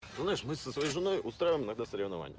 со своей женой устроим на газ